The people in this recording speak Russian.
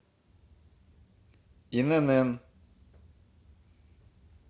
инн